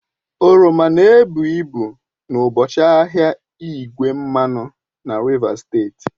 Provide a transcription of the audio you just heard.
Oroma na-ebu ibu n'ụbọchị ahịa igwe mmanụ na Rivers steeti